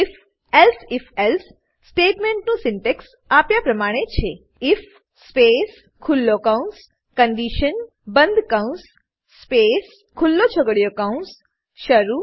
if elsif else સ્ટેટમેંટનું syntax આપ્યા પ્રમાણે છે આઇએફ સ્પેસ ખુલ્લો કૌંસ કન્ડિશન બંધ કૌંસ સ્પેસ ખુલ્લો છગડીયો કૌંસ શરૂ